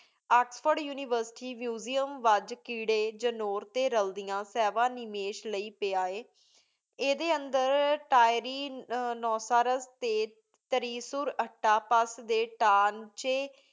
Oxford University museum ਵੇਜ ਕੀਰੀ ਜਿਨੂਰ ਟੀ ਰੇਅਲ੍ਦੇਅਨ ਸੇਬਾਹ ਨਿਮਿਸ਼ ਲੈ ਆਯ ਏਡੀ ਊਂਦਰ ਤੇਰੀ ਨੁਸ੍ਰੀਘ ਟੀ ਤਾਰਿਸੁਰ ਅਤਾਪਾ ਡੀ ਤਾਂਚ੍ਯ